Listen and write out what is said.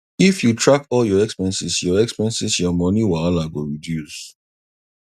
if you track all your expenses your expenses your money wahala go reduce